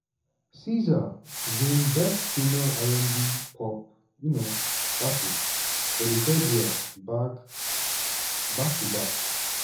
sza win best female r&b/pop um artist for di third year back back to back.